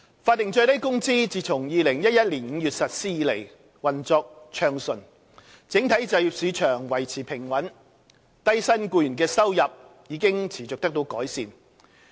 法定最低工資自2011年5月實施以來，運作暢順，整體就業市場維持平穩，低薪僱員的收入已持續得到改善。